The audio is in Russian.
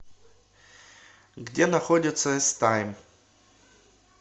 где находится с тайм